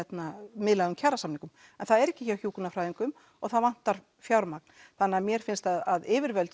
miðlægum kjarasamningum en það er ekki hjá hjúkrunarfræðingum og það vantar fjármagn þannig að mér finnst að yfirvöld